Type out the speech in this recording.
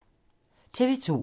TV 2